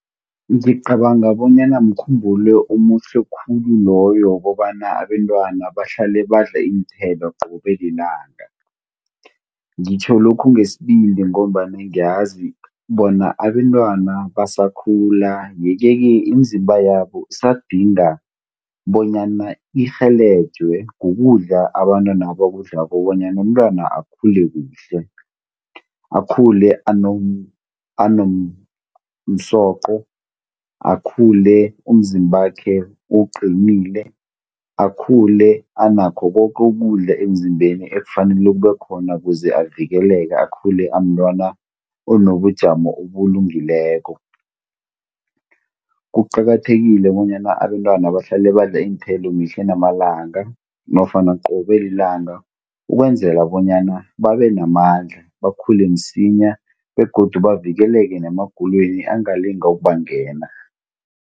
Ngiqabanga bonyana mkhumbulo omuhle khulu loyo wokobana abentwana bahlale badla iinthelo qobe lilanga. Ngitjho lokhu ngesibindi ngombana ngiyazi bona abantwana basakhula ye-keke imizimba yabo isadinga bonyana irhelejwe kukudla abantwana abakudlako bonyana umntwana akhulu kuhle. Akhule anomsoqo akhule umzimbakhe uqinile, akhule anakho koke ukudla emzimbeni ekufanele kube khona kuze avikeleke akhule amntwana onobujamo obulungileko. Kuqakathekile bonyana abentwana bahlale badla iinthelo mihla namalanga nofana qobe lilanga ukwenzela bonyana babe namandla bakhule msinya begodu bavikeleke nemagulweni angalinga ukubangena.